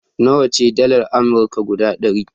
Nawa ce dalar Amurka guda ɗari?